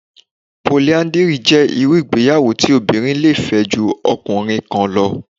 Poliáńdírì jẹ́ irú ìgbéyàwó tí obìnrin tí lè fẹ́ ju ọkùnrin kan lọ